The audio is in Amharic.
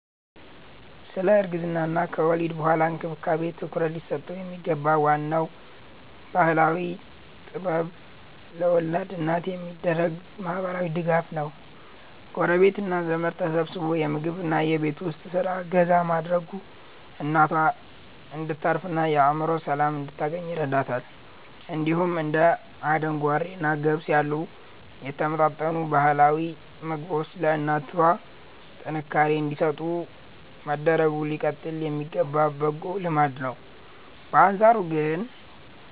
ስለ እርግዝናና ከወሊድ በኋላ እንክብካቤ ትኩረት ሊሰጠው የሚገባው ዋናው ባህላዊ ጥበብ ለወላድ እናት የሚደረገው ማህበራዊ ድጋፍ ነው። ጎረቤትና ዘመድ ተሰባስቦ የምግብና የቤት ውስጥ ስራ እገዛ ማድረጉ እናቷ እንድታርፍና የአእምሮ ሰላም እንድታገኝ ይረዳታል። እንዲሁም እንደ አደንጓሬና ገብስ ያሉ የተመጣጠኑ ባህላዊ ምግቦች ለእናቷ ጥንካሬ እንዲሰጡ መደረጉ ሊቀጥል የሚገባ በጎ ልማድ ነው። በአንጻሩ ግን